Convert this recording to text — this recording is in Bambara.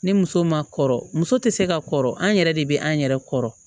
Ni muso ma kɔrɔ muso tɛ se ka kɔrɔ an yɛrɛ de bɛ an yɛrɛ kɔrɔ